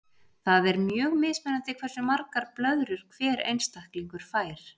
Það er mjög mismunandi hversu margar blöðrur hver einstaklingur fær.